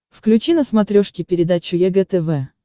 включи на смотрешке передачу егэ тв